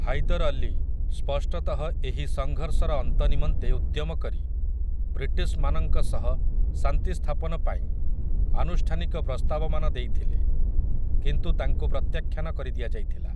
ହାଇଦର୍ ଅଲୀ, ସ୍ପଷ୍ଟତଃ ଏହି ସଂଘର୍ଷର ଅନ୍ତ ନିମନ୍ତେ ଉଦ୍ୟମ କରି, ବ୍ରିଟିଶ୍‌ମାନଙ୍କ ସହ ଶାନ୍ତି ସ୍ଥାପନ ପାଇଁ ଆନୁଷ୍ଠାନିକ ପ୍ରସ୍ତାବମାନ ଦେଇଥିଲେ କିନ୍ତୁ ତାଙ୍କୁ ପ୍ରତ୍ୟାଖ୍ୟାନ କରିଦିଆଯାଇଥିଲା ।